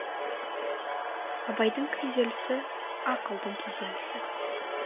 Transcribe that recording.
абайдың күйзелісі ақылдың күйзелісі